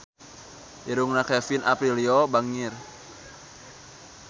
Irungna Kevin Aprilio bangir